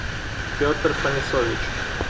петр фанисович